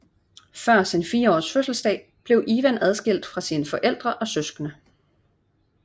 Før sin 4 års fødselsdag blev Ivan adskilt fra sine forældre og søskende